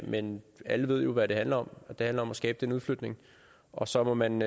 men alle ved jo hvad det handler om det handler om at skabe den udflytning og så må man